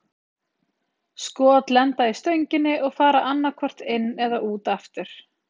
Skot lenda í stönginni og fara annað hvort inn eða út aftur.